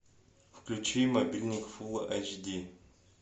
включи мобильник фулл айч ди